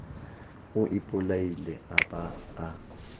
o ipolaile a ba a